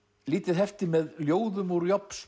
lítið hefti með ljóðum úr